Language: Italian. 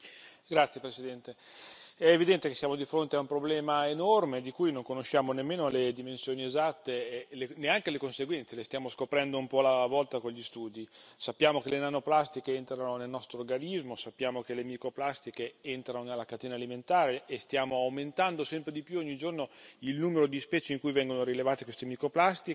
Signor Presidente, onorevoli colleghi, è evidente che siamo di fronte a un problema enorme di cui non conosciamo nemmeno le dimensioni esatte e neanche le conseguenze le stiamo scoprendo un po' alla volta con gli studi. Sappiamo che le nanoplastiche entrano nel nostro organismo, sappiamo che le microplastiche entrano nella catena alimentare e stanno aumentando sempre di più, ogni giorno, il numero di specie in cui vengono rilevate queste microplastiche.